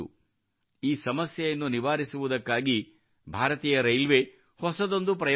ಈ ಸಮಸ್ಯೆಯನ್ನು ನಿವಾರಿಸುವುದಕ್ಕಾಗಿ ಭಾರತೀಯ ರೈಲ್ವೇ ಹೊಸದೊಂದು ಪ್ರಯೋಗ ಮಾಡಿತು